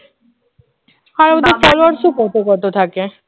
আর ওদের followers ও কত কত থাকে